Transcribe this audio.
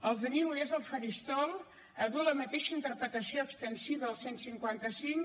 els animo des del faristol a dur la mateixa interpretació extensiva del cent i cinquanta cinc